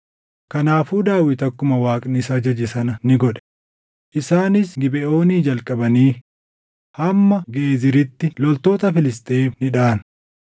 Kanaafuu Daawit akkuma Waaqni isa ajaje sana ni godhe; isaanis Gibeʼoonii jalqabanii hamma Geeziritti loltoota Filisxeem ni dhaʼan.